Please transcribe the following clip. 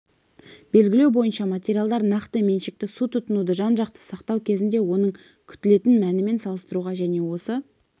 белгілеу бойынша материалдар нақты меншікті су тұтынуды жан-жақты сақтау кезінде оның күтілетін мәнімен салыстыруға және осы